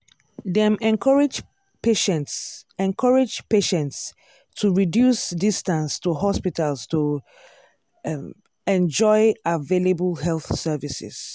dem encourage patients encourage patients to reduce distance to hospitals to um enjoy available health services.